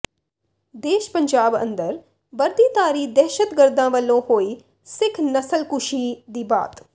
ਦੇਸ਼ ਪੰਜਾਬ ਅੰਦਰ ਵਰਦੀਧਾਰੀ ਦਹਿਸ਼ਤਗਰਦਾਂ ਵਲੋਂ ਹੋਈ ਸਿੱਖ ਨਸਲਕੁਸ਼ੀ ਦੀ ਬਾਤ